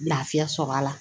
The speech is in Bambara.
Lafiya sɔrɔ a la